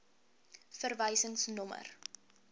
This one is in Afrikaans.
verwysingsnommer